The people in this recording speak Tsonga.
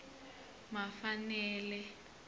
mafanele